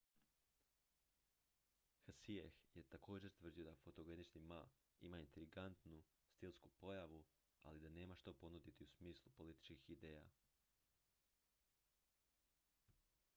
hsieh je također tvrdio da fotogenični ma ima intrigantnu stilsku pojavu ali da nema što ponuditi u smislu političkih ideja